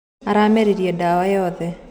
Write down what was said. Ũrameririe dawa yothe.